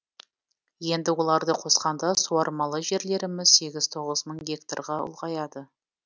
енді оларды қосқанда суармалы жерлеріміз сегіз тоғыз мың гектарға ұлғаяды